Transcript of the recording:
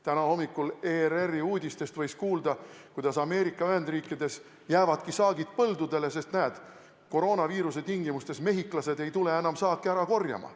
Täna hommikul võis ERR-i uudistest kuulda, et Ameerika Ühendriikides jäävadki saagid põldudele, sest koroonaviiruse tingimustes mehhiklased ei tule enam saaki ära korjama.